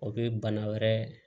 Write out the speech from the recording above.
O bɛ bana wɛrɛ